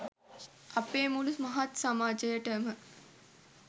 අපේ මුළු මහත් සමාජයටම